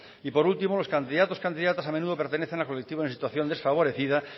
y por último los candidatos y candidatas a menudo pertenecen a colectivos en situación desfavorecida